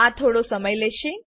આ થોડો સમય લેશે